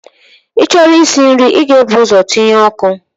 Ị chọrọ isi nri, ị ga-ebu ụzọ tinye ọkụ.